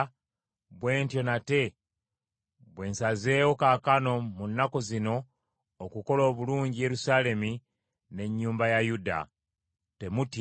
bwe ntyo nate bwe nsazeewo kaakano mu nnaku zino okukola obulungi Yerusaalemi n’ennyumba ya Yuda. Temutya.